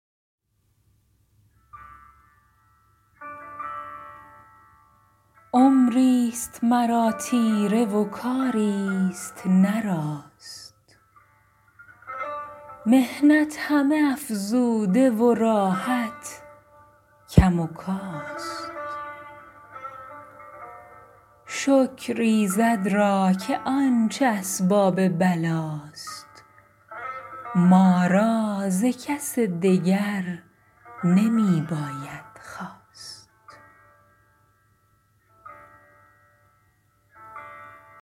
عمری ست مرا تیره و کاری ست نه راست محنت همه افزوده و راحت کم و کاست شکر ایزد را که آنچه اسباب بلا ست ما را ز کس دگر نمی باید خواست